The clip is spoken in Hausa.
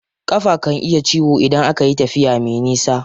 Ƙafa kan iya yin ciwo idan akayi tafiya me nisa.